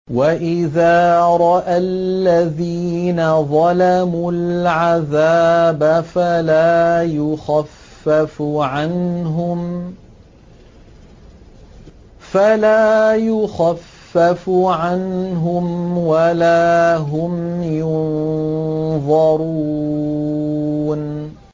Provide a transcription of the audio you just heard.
وَإِذَا رَأَى الَّذِينَ ظَلَمُوا الْعَذَابَ فَلَا يُخَفَّفُ عَنْهُمْ وَلَا هُمْ يُنظَرُونَ